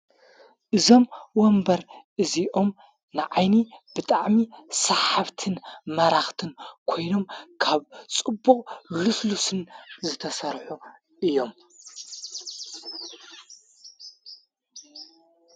እዞም ወንበር እዚኦም ንዓይኒ ብጣዕሚ ሰሓብትን መራኽትን ኮይኖም ካብ ጽቡቕ ሉስሉስን ዝተሠርሑ እዮም።